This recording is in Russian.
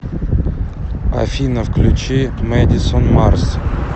афина включи мэдисон марс